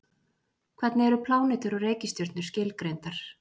Hvernig eru plánetur og reikistjörnur skilgreindar?